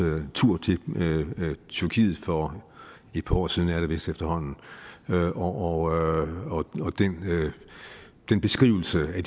tur til tyrkiet for et par år siden er det vist efterhånden og beskrivelsen af